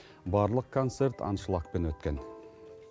барлық концерт аншлагпен өткен